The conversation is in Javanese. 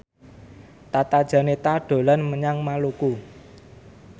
Tata Janeta dolan menyang Maluku